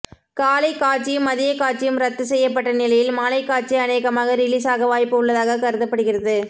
காலை காட்சியும் மதிய காட்சியும் ரத்து செய்யப்பட்ட நிலையில் மாலைக்காட்சி அனேகமாக ரிலீஸாக வாய்ப்பு உள்ளதாக கருதப்படுகிறது